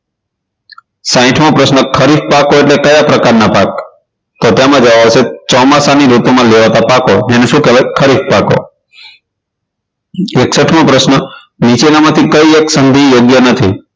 સાઇઠ મો પ્રશ્ન ખરીફ પાકો એટલે કયા પ્રકાર ના પાક તેના જવાબ આવશે ચોમાસાની ઋતુમાં લેવાતા પાકો તેને શું કહેવાય ખરીફ પાકો એકસઠ મો પ્રશ્ન નીચેનામાંથી કઈ એક સંધિ યોગ્ય નથી